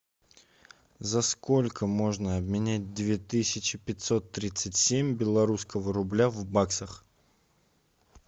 за сколько можно обменять две тысячи пятьсот тридцать семь белорусского рубля в баксах